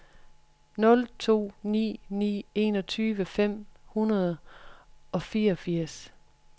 nul to ni ni enogtyve fem hundrede og fireogfirs